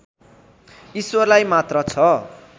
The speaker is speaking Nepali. ईश्वरलाई मात्र छ